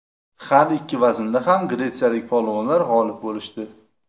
Har ikki vaznda ham gretsiyalik polvonlar g‘olib bo‘lishdi.